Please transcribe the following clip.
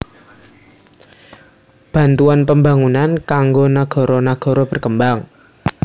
Bantuan Pembangunan kanggo nagara nagara berkembang